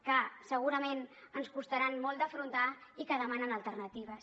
que segurament ens costaran molt d’afrontar i que demanen alternatives